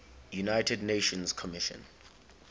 united nations commission